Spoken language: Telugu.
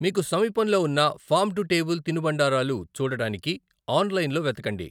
మీకు సమీపంలో ఉన్న ఫార్మ్ టు టేబుల్ తినుబండారాలు చూడటానికి ఆన్లైన్లో వెతకండి.